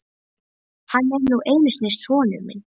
Hann er nú einu sinni sonur minn.